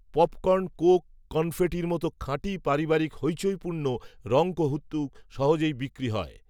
popcorn coke কনফেটির মতো খাঁটি পারিবারিক হইচইপূর্ণ রঙকৌতুক সহজেই বিক্রি হয়